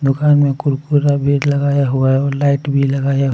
दुकान में कुरकुरा भी लगाया हुआ है और लाइट भी लगाया--